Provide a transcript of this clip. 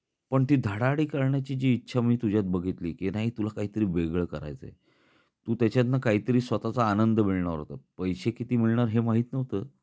पण ती धडाडी करण्याची जी इच्छा मी तुझ्यात बघितली की, नाही तुला काहीतरी वेगळे करायच आहे. तू त्याच्यातन काहीतरी स्वतः चा आनंद मिळणार होता. पैसे किती मिळणार हे माहीत नव्हत